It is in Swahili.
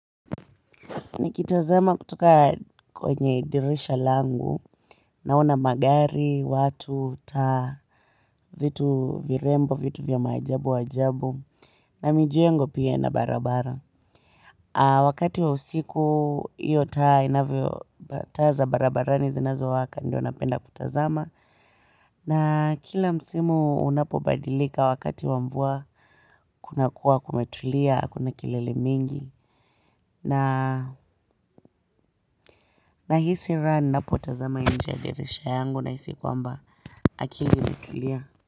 Nikitazama kutoka kwenye dirisha langu naona magari watu taa vitu virembo vitu vya maajabu ajabu na mijengo pia na barabara wakati wa usiku, iyo taa inavyo taa za barabara ni zinazo waka, ndio napenda kutazama. Na kila msimu unapo badilika wakati wa mvua, kuna kuwa kumetulia, hakuna kilele mingi. Na hisi raha nina potazama inje ya dirisha yangu na hisi kwamba akili imetulia.